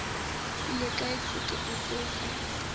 ile kae sekete seo sa